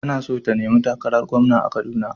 Tana so ta nemi takarar gwamna a kaduna.